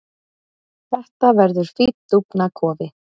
Þetta verður fínn dúfnakofi.